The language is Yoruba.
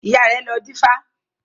Ìyá rẹ̀ lọ dífá